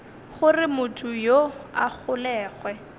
gore motho yoo a golegwe